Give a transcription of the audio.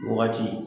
Wagati